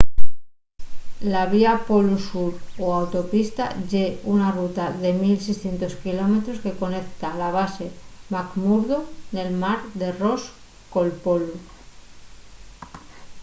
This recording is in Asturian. la vía polu sur o autopista ye una ruta de 1 600 km que conecta la base mcmurdo nel mar de ross col polu